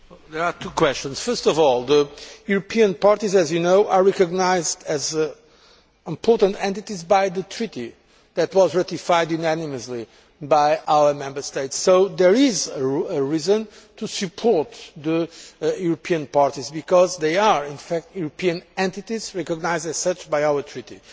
There are two questions here. First of all, the European parties are, as you know, recognised as important entities by the Treaty that was ratified unanimously by our Member States. So there is a reason to support the European parties because they are, in fact, European entities, recognised as such by our Treaty.